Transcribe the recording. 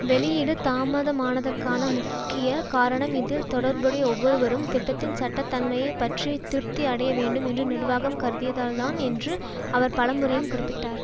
வெளியீடு தாமதமானதற்கான முக்கிய காரணம் இதில் தொடர்புடைய ஒவ்வொருவரும் திட்டத்தின் சட்ட தன்மையை பற்றி திருப்தி அடைய வேண்டும் என்று நிர்வாகம் கருதியதால்தான் என்று அவர் பலமுறையும் குறிப்பிட்டார்